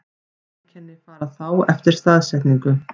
Einkenni fara þá eftir staðsetningu.